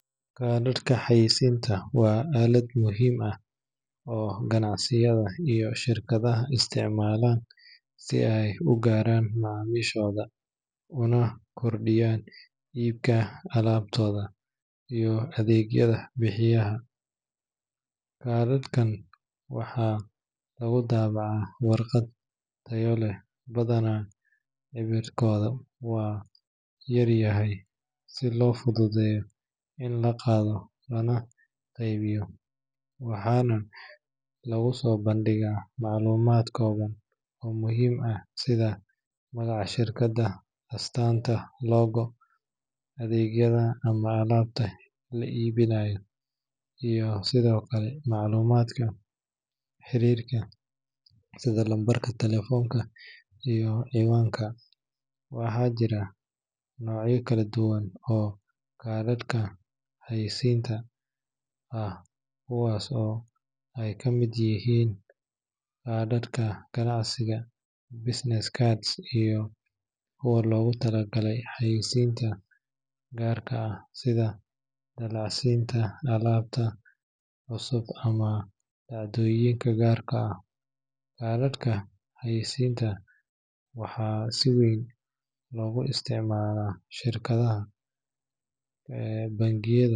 Kaadhadhka xayaysiiska waa aalad muhiim ah oo ganacsiyada iyo shirkadaha isticmaalaan si ay u gaaraan macaamiishooda una kordhiyaan iibka alaabtooda iyo adeegyada ay bixiyaan. Kaadhadhkan waxaa lagu daabacaa warqad tayo leh, badanaa cabirkoodu waa yar yahay si loo fududeeyo in la qaado lana qaybiyo, waxaana lagu soo bandhigaa macluumaad kooban oo muhiim ah sida magaca shirkadda, astaanta logo, adeegyada ama alaabta la iibinayo, iyo sidoo kale macluumaadka xiriirka sida lambarka taleefanka iyo cinwaanka. Waxaa jira noocyo kala duwan oo kaadhadhka xayaysiiska ah, kuwaas oo ay ka mid yihiin kaadhadhka ganacsiga business cards iyo kuwa loogu talagalay xayeysiinta gaarka ah sida dallacsiinta alaabta cusub ama dhacdooyinka gaarka ah. Kaadhadhka xayaysiiska waxaa si weyn loogu isticmaalaa shirarka, bandhigyada.